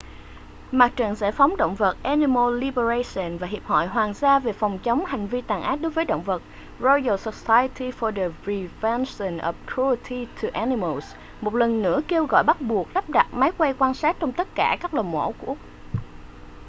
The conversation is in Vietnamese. mặt trận giải phóng động vật animal liberation và hiệp hội hoàng gia về phòng chống hành vi tàn ác đối với động vật royal society for the prevention of cruelty to animals một lần nữa kêu gọi bắt buộc lắp đặt máy quay quan sát trong tất cả các lò mổ của úc